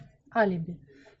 алиби